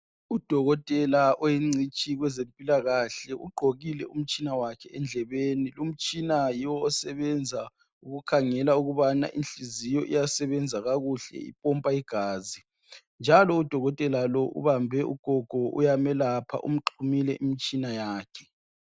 Udokotela oyingcitshi kwezempilakahle ugqokile umtshina wakhe endlebeni .Umtshina yiwo osebenza ukukhangela ukubana inhliziyo iyasebenza kakuhle ipompa igazi njalo udokotela lo ubambe ugogo uyamelapha umxhumile imitshina yakhe .